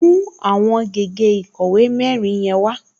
Mú àwọn gègé ìkọ̀wé mẹ́rin yẹn wá!